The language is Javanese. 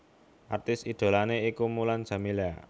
Artis idholané iku Mulan Jameela